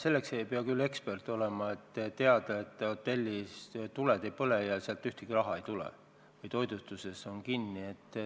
Selleks ei pea ekspert olema, et teada, et hotellis tuled ei põle ja sealt raha ei tule ning toitlustusasutused on kinni.